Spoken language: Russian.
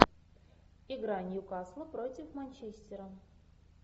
игра ньюкасл против манчестера